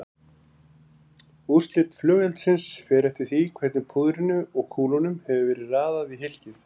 Útlit flugeldsins fer eftir því hvernig púðrinu og kúlunum hefur verið raðað í hylkið.